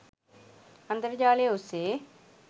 අන්තර් ජාලය ඔස්සේ